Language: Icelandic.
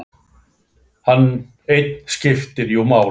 Hann einn skipti jú máli.